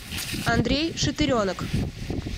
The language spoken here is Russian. андрей шатыренок